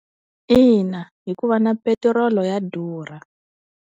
Ina hikuva na petiroli ya durha.